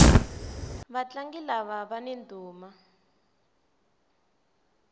vatlangi lava vani ndhuma